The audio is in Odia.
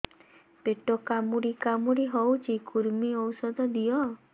ପେଟ କାମୁଡି କାମୁଡି ହଉଚି କୂର୍ମୀ ଔଷଧ ଦିଅ